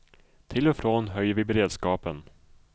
Till och från höjer vi beredskapen.